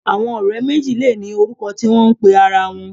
Àwọn ọ̀rẹ́ méjì lè ní orúkọ tí wọ́n ń pe ara wọn